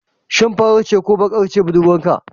Shin mai farar ce ko kuma bakar shine budurwarka?